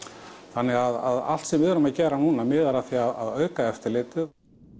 þannig að allt sem við erum að gera núna miðar að því að auka eftirlitið